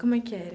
Como é que era?